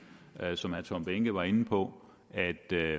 som herre tom behnke var inde på at der